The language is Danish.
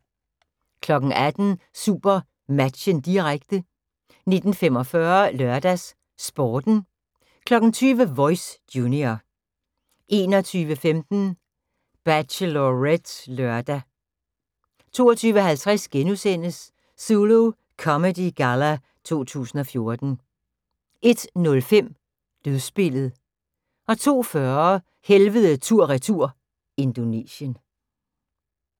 18:00: SuperMatchen, direkte 19:45: LørdagsSporten 20:00: Voice – junior 21:15: Bachelorette (lør) 22:50: Zulu Comedy Galla 2014 * 01:05: Dødsspillet 02:40: Helvede tur/retur – Indonesien